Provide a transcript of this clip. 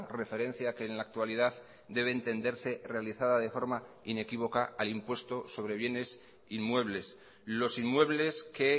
referencia que en la actualidad debe entenderse realizada de forma inequívoca al impuesto sobre bienes inmuebles los inmuebles que